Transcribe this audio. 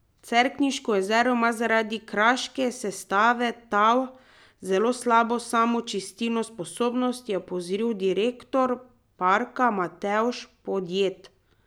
Cerkniško jezero ima zaradi kraške sestave tal zelo slabo samočistilno sposobnost, je opozoril direktor parka Matevž Podjed.